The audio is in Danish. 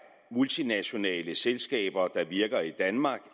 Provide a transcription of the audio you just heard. multinationale selskaber der virker i danmark